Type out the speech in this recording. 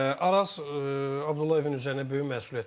Araz Abdullayevin üzərinə böyük məsuliyyət düşür.